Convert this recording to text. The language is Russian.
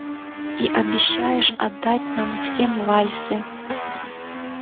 и обещаешь отдать нам всем вальсы